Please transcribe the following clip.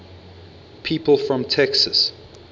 people from texas